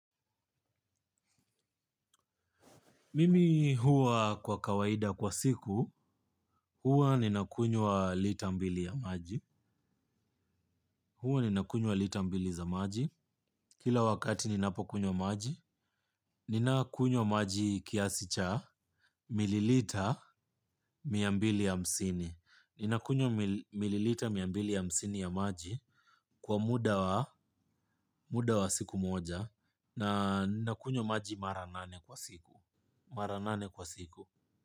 Mimi huwa kwa kawaida kwa siku, huwa ninakunywa lita mbili ya maji. Huwa ninakunywa lita mbili za maji. Kila wakati ninapokunywa maji, ninakunywa maji kiasicha mililita mia mbili hamsini. Ninakunywa mililita mia mbili hamsini ya maji kwa muda wa siku moja na ninakunywa maji mara nane kwa siku.